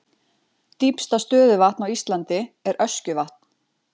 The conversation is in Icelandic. Dýpsta stöðuvatn á Íslandi er Öskjuvatn.